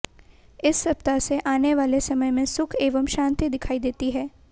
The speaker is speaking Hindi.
इस सप्ताह से आने वाले समय में सुख एवं शांति दिखाई देती है